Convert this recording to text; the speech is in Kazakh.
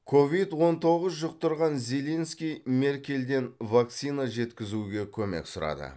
ковид он тоғыз жұқтырған зеленский меркельден вакцина жеткізуге көмек сұрады